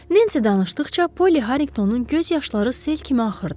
Nensi danışdıqca Poly Harinqtonun göz yaşları sel kimi axırdı.